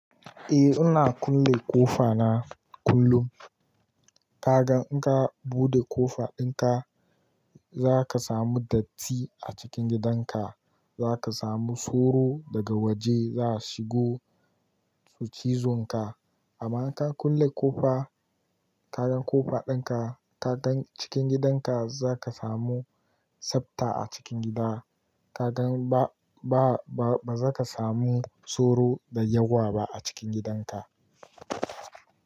A ina kulle ƙofa na kullum. Ka gan in ka buɗe ƙofa ɗin ka, za ka samu datti a cikin gidan ka. Za ka samu tsoro daga waje za shigo su cizon ka. Amma ka kulle ƙofa, ka gan ƙofa ɗin ka, ka gan cikin gidan ka, za ka samu tsabta a cikin gida. Ka gan ba, ba, ba, ba za ka samu tsoro da yawa ba a cikin gidan ka.